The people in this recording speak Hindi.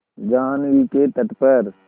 जाह्नवी के तट पर